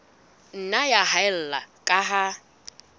nna ya haella ka ha